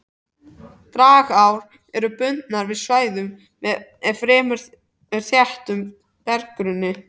Dragár eru bundnar við svæði með fremur þéttum berggrunni.